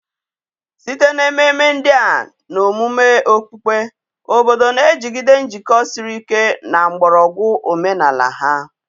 site na ememe ndị a na omume okpukpe, obodo na-ejigide njikọ siri ike na mgbọrọgwụ omenala ha.